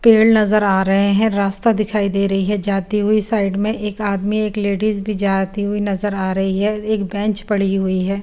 केड नजर आ रहे हैं रास्ता दिखाई दे रही हैं जाती हुई साइड में एक आदमी एक लेडीज भी जाती हुई नजर आ रही हैं एक बेंच पड़ी हुई हैं।